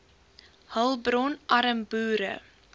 hulpbron arm boere